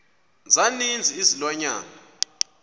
za ninzi izilwanyana